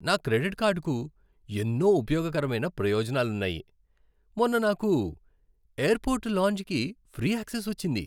నా క్రెడిట్ కార్డ్కు ఎన్నో ఉపయోగకరమైన ప్రయోజనాలున్నాయి. మొన్న నాకు ఎయిర్పోర్ట్ లాంజ్కి ఫ్రీ యాక్సెస్ వచ్చింది.